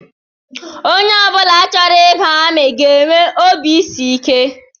Onye ọ bụla chọrọ ịba amị ga-enwe obisiike